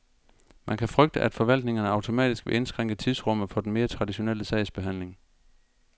Man kan frygte, at forvaltningerne automatisk vil indskrænke tidsrummet for den mere traditionelle sagsbehandling.